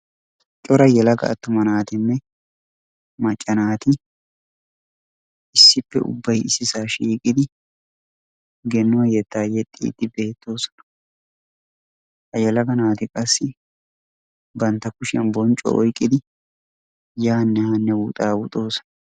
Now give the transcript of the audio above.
Cora yelaga attuma naatinne macca naati issippe ubbayi issisaa shiiqidi gennuwa yettaa yexxiiddi beettoosona. Ha yelaga naati qassi bantta kushiyan bonccuwa oyqqidi yaanne haanne wuxaawuxoosonaa.